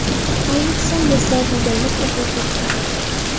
Ayniqsa, Mirzo Bedilni ko‘p o‘qirdi.